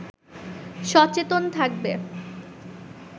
সচেতন থাকবে